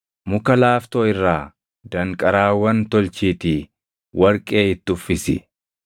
Muka laaftoo irraa danqaraawwan tolchiitii warqee itti uffisi.